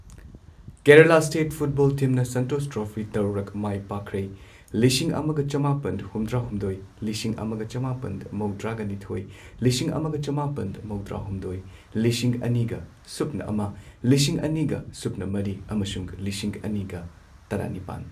Kerala state football ꯇꯤꯝꯅ Santosh trophy ꯇꯔꯨꯛꯂꯛ ꯃꯥꯏ ꯄꯥꯛꯈ꯭ꯔꯦ ꯂꯤꯁꯤꯡ ꯑꯃꯒ ꯆꯃꯥꯄꯟ ꯍꯨꯝꯗ꯭ꯔꯥ ꯍꯨꯝꯗꯣꯏ, ꯂꯤꯁꯤꯡ ꯑꯃꯒ ꯆꯃꯥꯄꯟ ꯃꯧꯗ꯭ꯔꯥꯒ ꯅꯤꯊꯣꯏ, ꯂꯤꯁꯤꯡ ꯑꯃꯒ ꯆꯃꯥꯄꯟ ꯃꯧꯗ꯭ꯔꯥ ꯍꯨꯝꯗꯣꯏ, ꯂꯤꯁꯤꯡ ꯑꯅꯤꯒ ꯁꯨꯞꯅ ꯑꯃ, ꯂꯤꯁꯤꯡ ꯑꯅꯤ ꯁꯨꯞꯅ ꯃꯔꯤ ꯑꯃꯁꯨꯡ ꯂꯤꯁꯤꯡ ꯑꯅꯤꯒ ꯇꯔꯥꯅꯤꯄꯥꯟ꯫